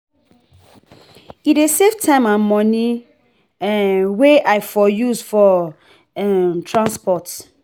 e dey save time and money um wey i for use for um transport.